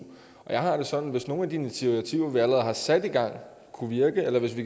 jeg har det sådan at hvis nogle af de initiativer vi allerede har sat i gang kunne virke eller hvis vi